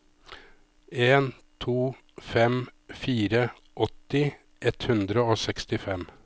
en to fem fire åtti ett hundre og sekstifem